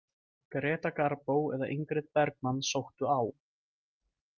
Greta Garbo eða Ingrid Bergmann sóttu á.